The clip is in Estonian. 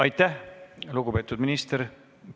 Aitäh, lugupeetud minister!